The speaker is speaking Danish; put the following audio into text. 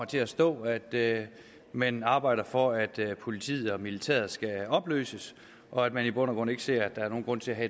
der står at man arbejder for at politiet og militæret skal opløses og at man i bund og grund ikke ser nogen grund til at